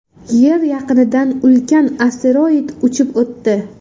Yer yaqinidan ulkan asteroid uchib o‘tdi .